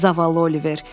Zavallı Oliver.